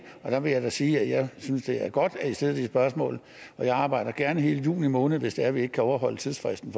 der vil jeg da sige at jeg synes det er godt at i stiller de spørgsmål og jeg arbejder gerne hele juni måned hvis det er vi ikke kan overholde tidsfristen